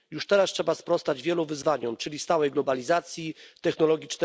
Już teraz trzeba sprostać wielu wyzwaniom, czyli stałej globalizacji, technologii